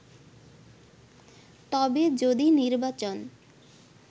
তবে যদি নির্বাচন